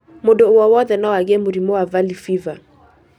Mũndũ wowothe no angĩe mũrimũ wa valley fever.